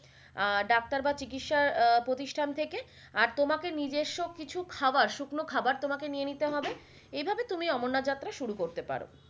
আহ doctor বা চিকিসা আহ প্রতিষ্টান থাকে আর তোমাকে নিজেস্ব কিছু খাবার শুকনো খাবার তোমাকে নিয়ে নিতে হবে এই ভাবে তুমি অমরনাথ যাত্ৰা শুরু করতে পারো।